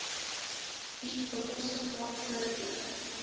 bied bekostigbare voordele